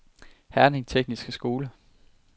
Herning Tekniske Skole